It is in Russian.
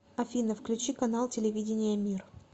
афина включи канал телевидения мир